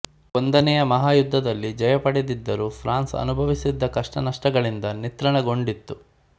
ಒಂದನೆಯ ಮಹಾಯುದ್ಧದಲ್ಲಿ ಜಯ ಪಡೆದಿದ್ದರೂ ಫ್ರಾನ್ಸ್ ಅನುಭವಿಸಿದ್ದ ಕಷ್ಟನಷ್ಟಗಳಿಂದಾಗಿ ನಿತ್ರಾಣಗೊಂಡಿತ್ತು